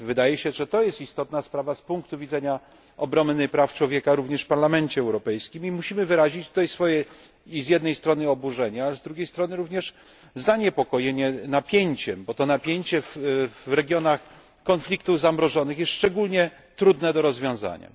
Wydaje się więc, że to jest istotna sprawa z punktu widzenia ochrony praw człowieka również w Parlamencie Europejskim i musimy wyrazić tutaj swoje z jednej strony oburzenie, a z drugiej strony również zaniepokojenie napięciem, bo to napięcie w regionach konfliktów zamrożonych jest szczególnie trudne do rozwiązania.